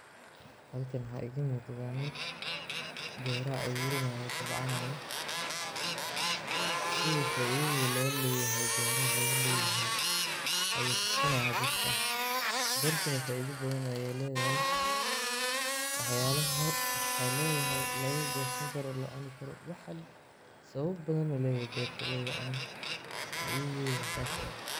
Halkan waxaa iga muuqda nin beeraha abuuranayo oo tabcanaaya. Sida faa'iidada loo leeyahay beeraha, ayuu tusinayaa dadka. Beertuna faa'iido badan ayay leedahay; waxyaabaha laga goosan karo waa la cuni karo. Waxa sababo badan ay leeyihiin loogu cuno. Faa'iidadeeda ayaa taas ah.